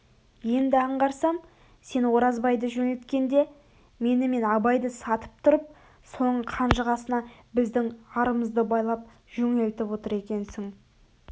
енді аңғарсам сен оразбайды жөнелткенде мені мен абайды сатып тұрып соның қанжығасына біздің арымыэды байлап жөнелтіп отыр екенсің